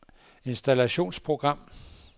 installationsprogram